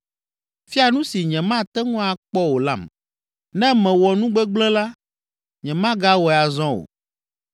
Fia nu si nyemate ŋu akpɔ o lam, ne mewɔ nu gbegblẽ la, nyemagawɔe azɔ o.’